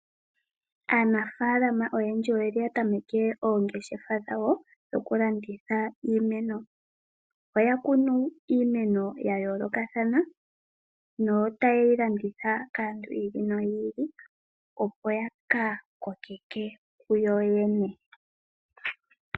Aanafaalama oyendji oya tameke oongeshefa dhokulanditha iimeno. Ohaya kunu iimeno yayoolokathana e taye yi landitha kaantu yi ili noyi ili opo yaka koke ke kuyo yene.